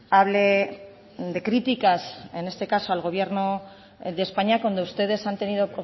hable de críticas en este caso al gobierno de españa cuando ustedes han tenido